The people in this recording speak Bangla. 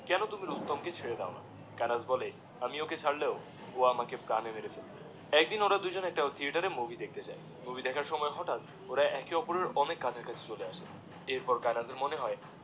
কোনো তুমি রুস্তম ক ছেড়ে দাওনা কায়েনাথ বলে আমি ওকে ছাড়লেও ও আমাকএ প্রাণে মেরে ফেলবে একদিনওরা দুজনে একটা থিয়েটারে মুভি দেখতে যায়, মুভি দেখার সময় হটাৎওরা এক ওপরের অনেক কাছা কাছি চলে আসে এরপর কায়েনাথের মনে হয়